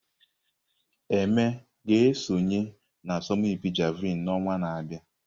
Eme ga-esonye n'asọmpi Javelin n'ọnwa na-abịa?